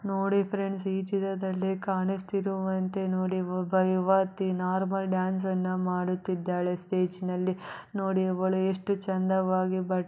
ನೋಡಿ ಫ್ರೆಂಡ್ಸ್ ಈ ಚಿತ್ರದಲ್ಲಿ ಕಾಣಿಸ್ತಿರುವಂತ ಒಬ್ಬ ಯುವತಿ ನಾರ್ಮಲ್ ಡಾನ್ಸ್ ಅನ್ನ ಮಾಡುತಿದಾಳೆ ಸ್ಟೇಜ್ನಲ್ಲಿ ನೋಡಿ ಇವಳು ಎಷ್ಟು ಚೆಂದವಾಗಿ--